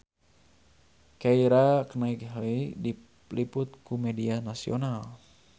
Keira Knightley diliput ku media nasional